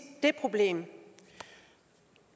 det problem